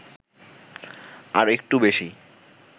আর একটু বেশি